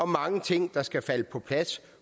mange ting der skal falde på plads